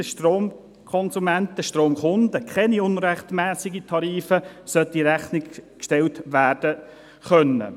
Den Stromkonsumenten, Stromkunden sollten keine unrechtmässigen Tarife in Rechnung gestellt werden können.